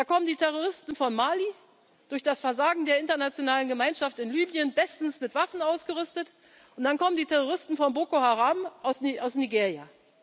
Welt. Da kommen die Terroristen von Mali, durch das Versagen der internationalen Gemeinschaft in Libyen bestens mit Waffen ausgerüstet, und dann kommen die Terroristen von Boko Haram aus Nigeria.